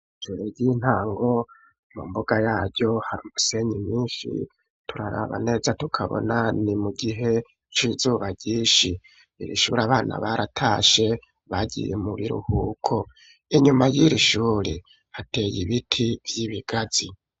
Ishure ry'intango, mu mbuga yaryo hari umusenyi mwinshi, turaraba neza tukabona ni mu gihe c'izuba ryinshi. Iri shuri abana baratashe bagiye mu biruhuko. Inyuma ry'iryo shure hateye ibiti vy'ibigazi.